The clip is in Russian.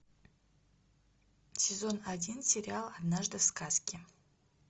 сезон один сериал однажды в сказке